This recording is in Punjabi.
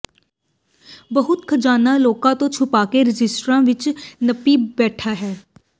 ਬਹੁਤ ਖਜ਼ਾਨਾਂ ਲੋਕਾਂ ਤੋਂ ਛੁਪਾਕੇ ਰਜਿਸਟਰਾਂ ਵਿੱਚ ਨੱਪੀ ਬੈਠਾ ਹੈ